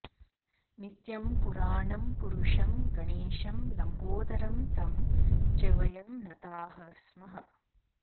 नित्यं पुराणं पुरुषं गणेशं लम्बोदरं तं च वयं नताः स्मः